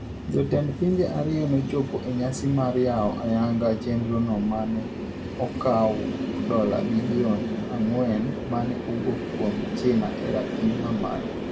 Jotend pinje ariyogo nochopo e nyasi mar yao ayanga chenro no mane okaw dola bilion ang'wen mane owuok kuom china e rapim mamalo.